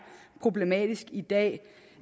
problematisk i dag